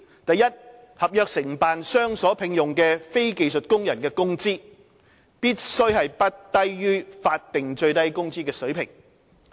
第一，合約承辦商所聘用的非技術工人的工資，必須不低於法定最低工資水平。